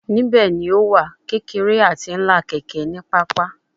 Nibẹ ni o wa kekere ati ńlá keke ni papa